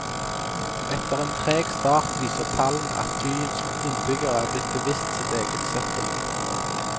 Etter en treg start viser tallene at byens innbyggere er blitt bevisst sitt eget søppel.